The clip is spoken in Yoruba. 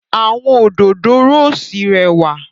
Awọn Òdòdó róòsì rẹwa